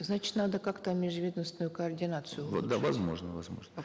значит надо как то межведомственную координацию улучшать да возможно возможно